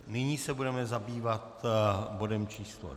Nyní se budeme zabývat bodem číslo